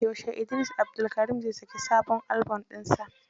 Yaushe Idris Abdulkarim zai saki sabon albon ɗinsa?